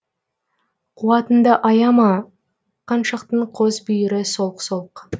қуатыңды аяма қаншықтың қос бүйірі солқ солқ